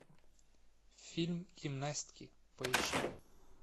фильм гимнастки поищи